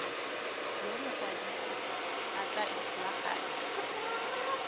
yo mokwadise a tla ikgolaganyang